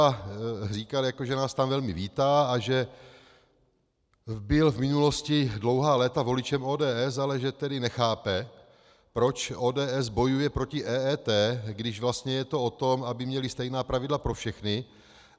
A říkal, že nás tam velmi vítá a že byl v minulosti dlouhá léta voličem ODS, ale že tedy nechápe, proč ODS bojuje proti EET, když vlastně je to o tom, aby měli stejná pravidla pro všechny.